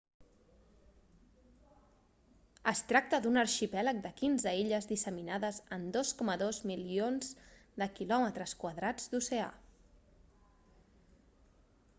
es tracta d'un arxipèlag de 15 illes disseminades en 2,2 milions de km² d'oceà